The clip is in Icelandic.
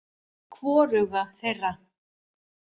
Hvoruga þeirra.